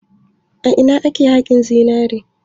A ina ne ake haƙin zinare?